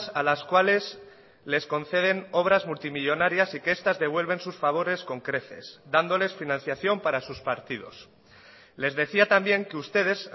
a las cuales les conceden obras multimillónarias y que estas devuelven sus favores con creces dándoles financiación para sus partidos les decía también que ustedes